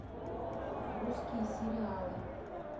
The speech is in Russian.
русские сериалы